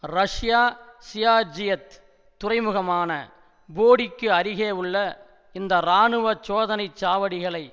Russia ஜியார்ஜியத் துறைமுகமான போடிக்கு அருகே உள்ள இந்த இராணுவ சோதனை சாவடிகளை